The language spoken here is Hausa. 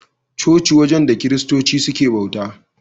Coci wajen da Kiristoci suke bauta.